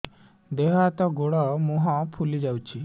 ଦେହ ହାତ ଗୋଡୋ ମୁହଁ ଫୁଲି ଯାଉଛି